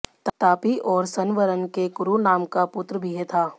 तापी और सन्वरण के कुरु नाम का पुत्र भी था